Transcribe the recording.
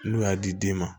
N'u y'a di den ma